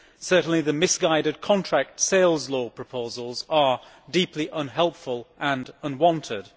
Certainly the misguided contract sales law proposals are deeply unhelpful and unwanted.